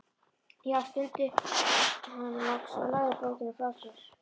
Já, stundi hann loks og lagði bókina frá sér.